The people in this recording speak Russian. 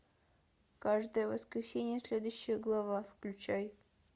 каждое воскресенье следующая глава включай